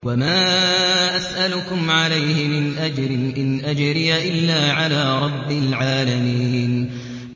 وَمَا أَسْأَلُكُمْ عَلَيْهِ مِنْ أَجْرٍ ۖ إِنْ أَجْرِيَ إِلَّا عَلَىٰ رَبِّ الْعَالَمِينَ